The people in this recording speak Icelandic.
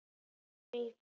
Ég þekki Vigfús.